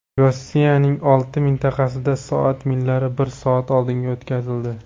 Rossiyaning olti mintaqasida soat millari bir soat oldinga o‘tkazildi.